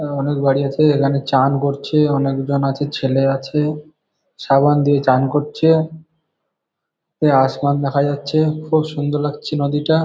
আ অনেক বাড়ি আছে। এখানে চান করছে। অনেকজন আছে। ছেলে আছে। সাবান দিয়ে চান করছে। এ আসমান দেখা যাচ্ছে। খুব সুন্দর লাগছে নদীটা ।